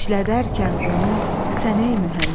İşlədərkən onu sən ey mühəndis.